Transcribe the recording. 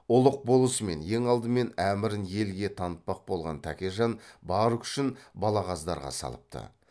ұлық болысымен ең алдымен әмірін елге танытпақ болған тәкежан бар күшін балағаздарға салыпты